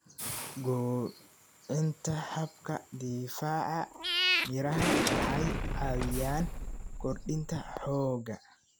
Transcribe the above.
Kobcinta habka difaaca Miraha waxay caawiyaan kordhinta xoogga.